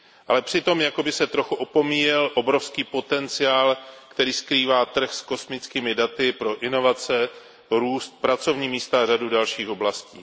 Ale přitom jako by se trochu opomíjel obrovský potenciál, který skrývá trh s kosmickými daty pro inovace, růst, pracovní místa a řadu dalších oblastí.